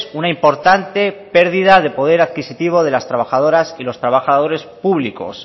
una importante pérdida de poder adquisitivo de las trabajadoras y los trabajadores públicos